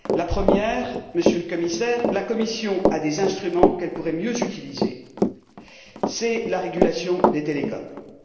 La première, Monsieur le Commissaire, est que la Commission a des instruments qu'elle pourrait mieux utiliser c'est la régulation des télécommunications.